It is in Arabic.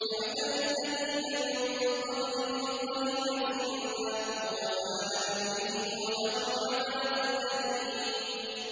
كَمَثَلِ الَّذِينَ مِن قَبْلِهِمْ قَرِيبًا ۖ ذَاقُوا وَبَالَ أَمْرِهِمْ وَلَهُمْ عَذَابٌ أَلِيمٌ